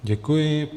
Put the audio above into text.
Děkuji.